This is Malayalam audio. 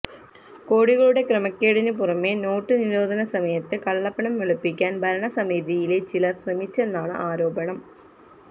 കോടികളുടെ ക്രമക്കേടിന് പുറമേ നോട്ട് നിരോധന സമയത്ത് കള്ളപ്പണം വെളുപ്പിക്കാന് ഭരണസമിതിയിലെ ചിലര് ശ്രമിച്ചെന്നാണ് ആരോപണം